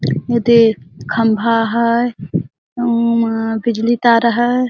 एडे खंभा हैं अऊ ओमा बिजली तार हैं।